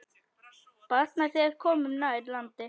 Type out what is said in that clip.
Batnar, þegar komum nær landi.